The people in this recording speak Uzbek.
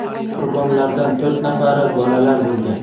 Qurbonlardan to‘rt nafari bolalar bo‘lgan.